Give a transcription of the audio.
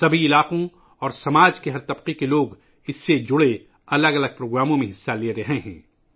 اس سے متعلق مختلف پروگراموں میں زندگی کے تمام شعبوں اور معاشرے کے ہر طبقے سے تعلق رکھنے والے لوگ شرکت کر رہے ہیں